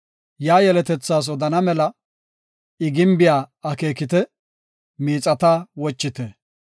Yaa yeletas odana mela iya gimbiya akeekite; miixata wochite.